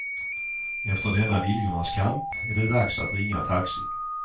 Efter denna viljornas kamp är det dags att ringa taxi.